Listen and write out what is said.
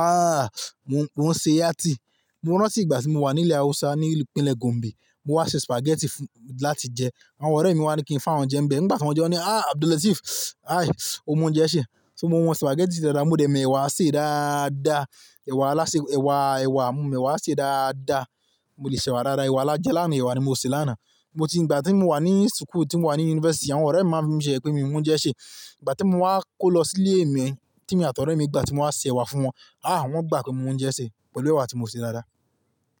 Ahhh, mo ń ṣe yá tí. Mo rántí ìgbà tí mo wà ní ilẹ̀ Hausa ní ìpínlẹ̀ Gombe. Mo wá ṣe spaghetti fún, láti jẹ. Àwọn ọ̀rẹ́ mi wá ní kí n fá wọn jẹ ń bẹ. Nígbà tí wọ́n jẹ wọ́n ní "ahhh Abdul Lateef, aí o mọ oúnjẹ ṣè". So mo mọ spaghetti ṣe dáadáa, mo dẹ̀ mẹ́wàá ṣe dáadáa. Ẹ̀wà lásẹ, ẹ̀wà, ẹ̀wà, mo mọ ẹ̀wà ṣe dáadáa. Mo le se ẹ̀wà dáadáa. Ẹ̀wà lájẹ làána ẹ̀wà ni mo sè lánàá. Mo ti, ìgbà tí mo wà ní school, tí mo wà ní university, àwọn ọ̀rẹ́ mi máa ń fimi se yeyẹ́ pé mi ò mọ oúnjẹ ṣè. Ìgbà tí mo wá kó lọ sí ilé mi, tí èmi àti ọ̀rẹ́ mi, ìgbà tí mo wá ṣe ẹ̀wà fún wọn, ahhh wọ́n gbà pé mo mọ oúnjẹ ṣè pẹ̀lú ẹ̀wà tí mo sè dáadáa.